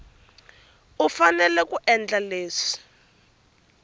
u fanele ku endla leswi